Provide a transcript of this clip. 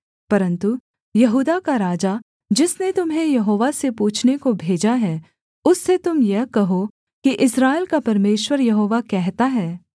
परन्तु यहूदा का राजा जिसने तुम्हें यहोवा से पूछने को भेजा है उससे तुम यह कहो कि इस्राएल का परमेश्वर यहोवा कहता है